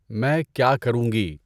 میں کیا کروں گی؟